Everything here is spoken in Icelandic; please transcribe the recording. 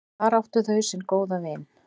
Þar áttu þau sinn góða vin.